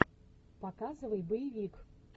показывай боевик